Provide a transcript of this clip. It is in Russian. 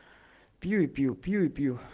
пью пил пью и пил